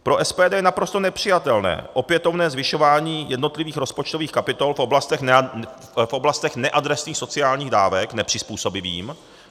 Pro SPD je naprosto nepřijatelné opětovné zvyšování jednotlivých rozpočtových kapitol v oblastech neadresných sociálních dávek nepřizpůsobivým.